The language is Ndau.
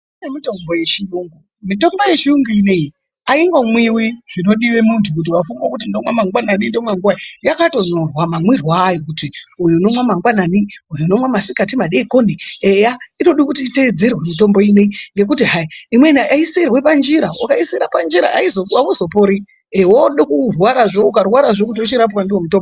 Kune mitombo yechiyungu mitombo, mitombo yechiyungu inoiyi haingomwivi zvinodive muntu kuti vafunge kuti ndomwa mangwanani ndomwa nguvai yakatonyorwa mamirwe ayo. Kuti uyu unomwa mangwanani uyu unomwa masikati madekoni eya inode kuti itedzerwe mitombo inoiyi ngekuti hai imwena haisirwe pajira ukaisire panjira hauzopori, vode kurwarazve ukarwarazve vochirapwa ndivo mutombo.